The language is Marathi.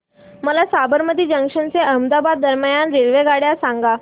मला साबरमती जंक्शन ते अहमदाबाद दरम्यान रेल्वेगाड्या सांगा